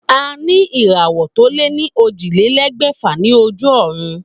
A ní ìràwò tó lé ní ójìlélégbèfà ní ojú òrun